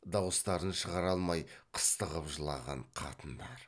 дауыстарын шығара алмай қыстығып жылаған қатындар